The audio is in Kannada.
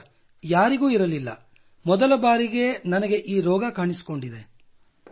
ಇಲ್ಲ ಸರ್ ಯಾರಿಗೂ ಇರಲಿಲ್ಲ ಮೊದಲ ಬಾರಿಗೆ ನನಗೆ ಈ ರೋಗ ಕಾಣಿಸಿಕೊಂಡಿದೆ